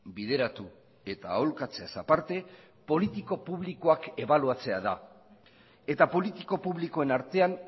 bideratu eta aholkatzeaz aparte politiko publikoak ebaluatzea da eta politiko publikoen artean